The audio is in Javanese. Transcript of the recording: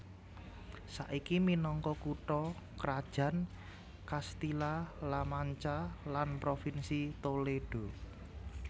Saiki minangka kutha krajan Castilla La Mancha lan provinsi Toledo